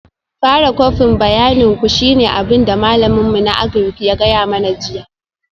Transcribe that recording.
Fara kwafin bayanin ku shine abin da malamin mu na Agric ya gaya mana jiya